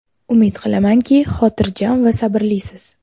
Umid qilamanki, xotirjam va sabrlisiz.